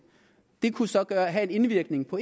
det kunne så have en indvirkning på